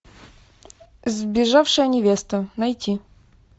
сбежавшая невеста найти